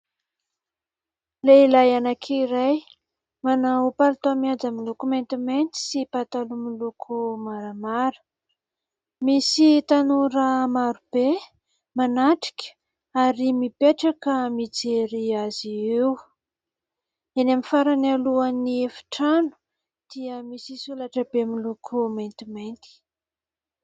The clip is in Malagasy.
Lehilahy anankiray manao palitao mihaja miloko maintimainty sy pataloha miloko maramara. Misy tanora maro be manatrika ary mipetraka mijery azy eo. Eny amin'ny farany alohan'ny efitrano dia misy solaitra be miloko maintimainty.